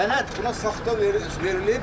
Sənəd buna saxta verilib.